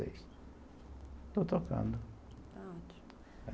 Estou tocando, está ótimo